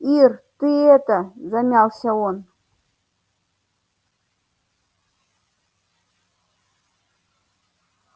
ир ты это замялся он